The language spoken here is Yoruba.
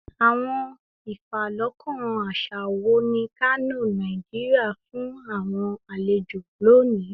Awọn ifalọkan aṣa wo ni Kano, Nigeria, fun awọn alejo loni?